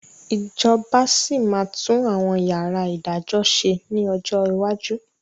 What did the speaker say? Ìjọba sì máa tún àwọn yàrá ìdájọ́ ṣe ni ọjọ́ iwájú